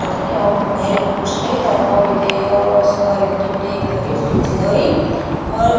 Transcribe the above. तथै यौम भैर बि कुछ लगी त ताल बिते यौ सिधौरेक दि देक धरी डी.जी. धौरी और --